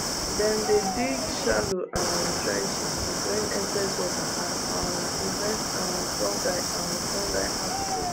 dem dey dig shallow um trenches to drain excess water and um prevent um fungal um fungal outbreaks